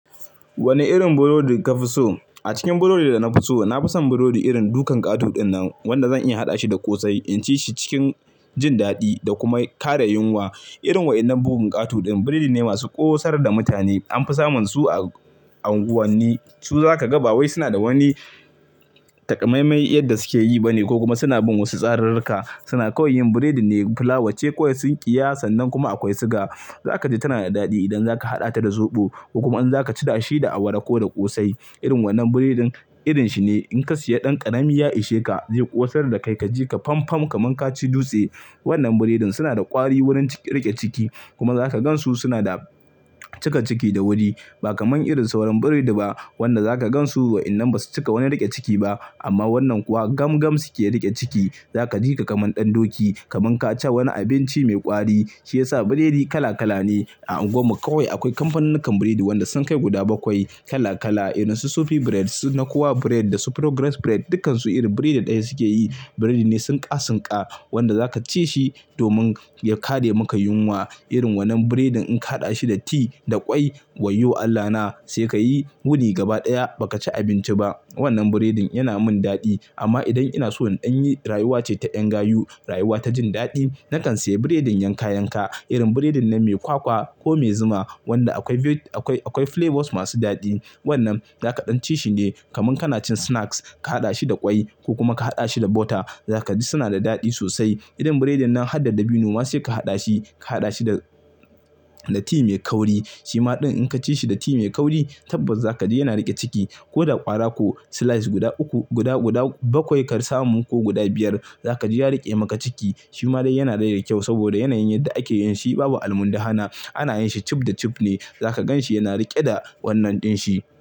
Wane irin burodi ka fi so? A cikin burodi da na fi so, na fi son burodi irin dukan ƙato ɗin nan wanda zan iya haɗa shi da ƙosai, inci shi cikin jin daɗi da kuma kare yunwa. Irin waɗannan bugun ƙato ɗin, burodi ne masu ƙosar da mutane. Anfi samun su a unguwanni su zaka ba wai suna da wani takamaimai yadda suke yi ba ne ko kuma suna bin wasu tsararurka. Suna kawai yin burodi ne flawa ce kawai sun ƙiya san nan kuma akwai suga. Za ka ji tana da daɗi idan zaka haɗa ta da soɓo, kuma in zaka ci da shi da awara ko da ƙosai. Irin wannan burodin irin shi ne in ka siya ɗan ƙarami ya ishe ka, zai ƙosar da kai kaji ka fam fam kamar ka ci dutse. Wannan burodin suna da ƙwari wurin riƙe ciki kuma zaka gan su suna da cika ciki da wuri, ba kaman irin sauran burodi ba wanda zaka gan su idan basu cika wani riƙe ciki ba. Amma wannan kuwa gam gam suke riƙe ciki. Za ka ji ka kamar ɗan doki kamar ka ci wani abinci mai ƙwari. Shi ya sa burodi kala kala ne. A unguwar mu kawai akwai kamfanunnukan burodi wanda sun kai guda bakwai kala kala, irin su Sofi Bread, Suna Kowa Bread da Progress Bread dukansu irin burodi ɗaya suke yi. Biredi ne sunka sunka wanda zaka ci shi domin ya kare maka yunwa. Irin wannan burodin in ka haɗa shi da ti da ƙwai wayyo Allahna sai ka yi wuni gaba ɗaya ba ka ci abinci ba. Wannan biredin yana man dadi amman idam inaso in danyi rayuwa ce ta yan gayu rayuwa ce ta yan gayu rayuwa ta jin dadi na kan saya bureding yanka yanka wannan biredin mai kwakwa ko mai zuma wanda akwai flavors masu dadi. Wannan zaka ɗan ci shi ne kamar kana cin snacks, ka haɗa shi da ƙwai ko kuma ka haɗa shi da butter. Zaka ji suna da daɗi sosai. Irin biredin nan har da dabino ma sai ka haɗa shi, ka haɗa shi da, da ti mai kauri. Shima din inka ci shibda tea mai kauri tabbasa zaka ji yana rike ciki koda kwara ko slice guda uku guda guda bakwai ka samu ko guda biyar zaka jibya rike maka ciki. Shi ma dai yana dai da kyau saboda yanayin yadda ake yin shi babu almundahana. Ana yin shi cif da cif ne. Zaka ganshi yana rike da wannan din shi.